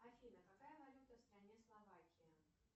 афина какая валюта в стране словакия